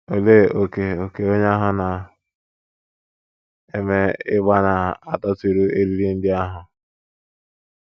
Olee ókè ókè onye ahụ na - eme ịgbà na - adọtịru eriri ndị ahụ?